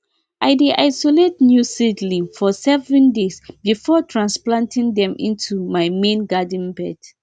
i dey isolate new seedlings for seven days before transplanting them into my main garden beds